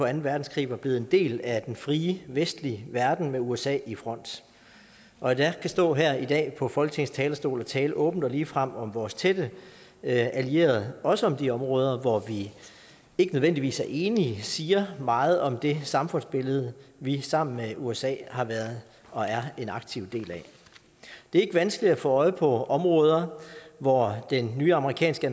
anden verdenskrig var blevet en del af den frie vestlige verden med usa i front og at jeg kan stå her i dag på folketingets talerstol og tale åbent og ligefrem om vores tætte allierede også om de områder hvor vi ikke nødvendigvis er enige siger meget om det samfundsbillede vi sammen med usa har været og er en aktiv del af det er ikke vanskeligt at få øje på områder hvor den nye amerikanske